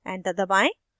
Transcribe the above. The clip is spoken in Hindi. enter दबाएं